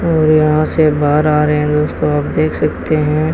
और यहां से बाहर आ रहे हैं दोस्तों आप देख सकते हैं।